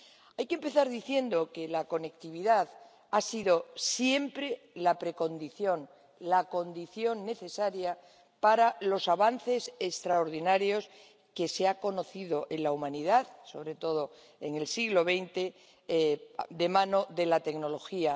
Hay que empezar diciendo que la conectividad ha sido siempre la precondición, la condición necesaria para los avances extraordinarios que se han conocido en la humanidad, sobre todo en el siglo XX de mano de la tecnología.